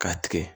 K'a tigɛ